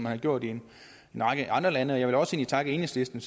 har gjort i en række andre lande jeg vil egentlig også takke enhedslisten